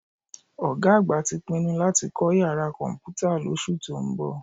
Ọ̀gá àgbà tí pinnu láti kọ́ yàrá Kọ̀m̀pútà lóṣù tó ń bọ̀